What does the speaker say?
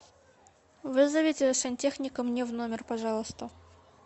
вызовите сантехника мне в номер пожалуйста